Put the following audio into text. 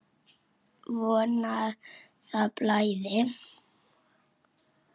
Von að það blæði!